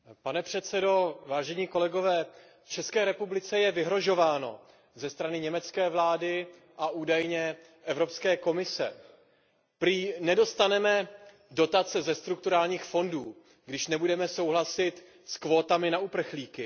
Pane předsedající, České republice je vyhrožováno ze strany německé vlády a údajně Evropské komise. Prý nedostaneme dotace ze strukturálních fondů, když nebudeme souhlasit s kvótami na uprchlíky.